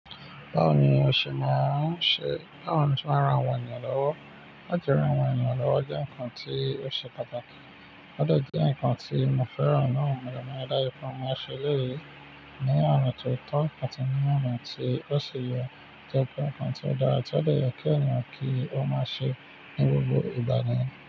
Báwo ni o òsè má a n se? Báwo ni o se máa ń ran àwọn ènìyàn lọ́wọ́? Lati ran àwọn ènìyàn lọ́wọ́ jẹ́ nǹkan tí ó ṣe pàtàkì. Ó de jẹ́ nǹkan tí mo fẹ́ràn náà ni mo máa dáyé pé mo máa ṣe lẹ́yìn ní ọ̀ràn tó tọ́ àti ní ọ̀ràn tí ó ṣe yọ. Jẹ́ pé nǹkan tí ó dára tí ó lè yọ kí ènìyàn kí ó máa ṣe ní gbogbo ìgbà ni.